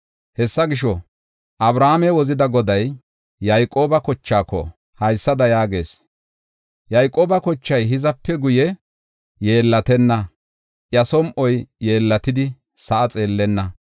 Hessa gisho, Abrahaame wozida Goday Yayqooba kochaako haysada yaagees: “Yayqooba kochay hizape guye yeellatenna; iya som7oy yeellatidi sa7a xeellenna.